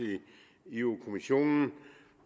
i europa kommissionen